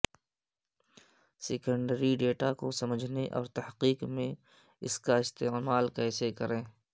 secondary data کو سمجھنے اور تحقیق میں اس کا استعمال کیسے کریں